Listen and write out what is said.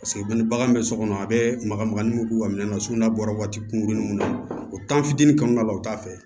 Paseke ni bagan bɛ so kɔnɔ a bɛ maga maga ni k'u ka minɛn na sugunɛ bɔra waati kunkuruni mun na o t'an fitinin kɔnɔna la u t'a fɛ